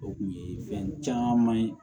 O kun ye fɛn caman ye